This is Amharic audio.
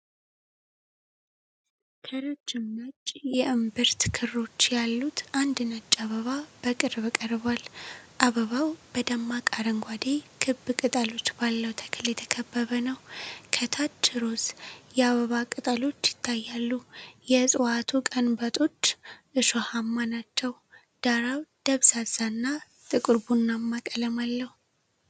ከረጅም ነጭ የእምብርት ክሮች ያሉት አንድ ነጭ አበባ በቅርብ ቀርቧል። አበባው በደማቅ አረንጓዴ፣ ክብ ቅጠሎች ባለው ተክል የተከበበ ነው። ከታች ሮዝ የአበባ ቅጠሎች ይታያሉ፤ የዕጽዋቱ ቀንበጦች እሾሃማ ናቸው። ዳራው ደብዛዛና ጥቁር ቡናማ ቀለም አለው።